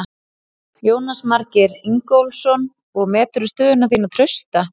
Jónas Margeir Ingólfsson: Og meturðu stöðu þína trausta?